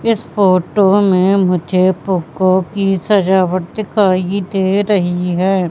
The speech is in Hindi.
इस फोटो में मुझे फुग्गो की सजावट दिखाई दे रही है।